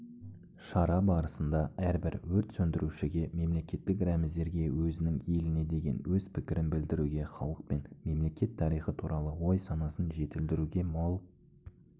шара барысында әрбір өрт сөндірушіге мемлекеттік рәміздерге өзінің еліне деген өз пікірін білдіруге халық пен мемлекет тарихы туралы ой-санасын жетілдіруге мол